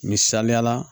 Misaliyala